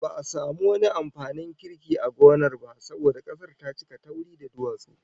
Ba'a samu wani amfanin kirki a gonar ba saboda kasar ta cika tauri da duwatsu